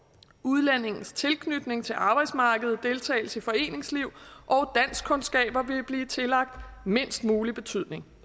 udlændingens tilknytning til arbejdsmarkedet deltagelse i foreningsliv og danskkundskaber vil blive tillagt mindst mulig betydning